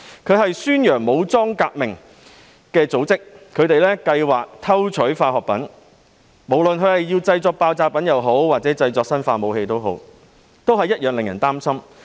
該組織宣揚武裝革命，還計劃偷取化學品，不論是用來製作爆炸品還是生化武器，同樣令人擔心。